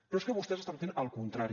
però és que vostès estan fent el contrari